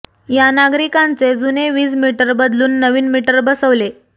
या नागरिकांचे जुने वीज मीटर बदलून नवीन मीटर बसवले